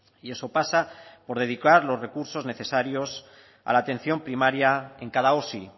y eso pasa por dedicar los recursos necesarios a la atención primaria en cada osi